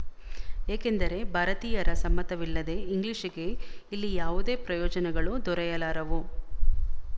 ಏಕೆಂದರೆ ಭಾರತೀಯರ ಸಮ್ಮತವಿಲ್ಲದೇ ಇಂಗ್ಲಿಶಿಗೆ ಇಲ್ಲಿ ಯಾವುದೇ ಪ್ರಯೋಜನಗಳು ದೊರೆಯಲಾರವು